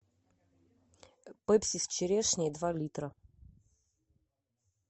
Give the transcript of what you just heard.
пепси с черешней два литра